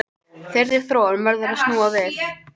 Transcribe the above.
Þeirri þróun verður að snúa við